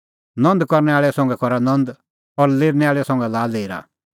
नंद करनै आल़ै संघै करा नंद और लेरनै आल़ै संघै लाआ लेरा